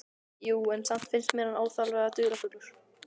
Jú, en samt finnst mér hann óþarflega dularfullur.